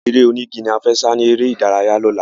Eré onígi la fẹ́ sá ni eré ìdárayá lọ́la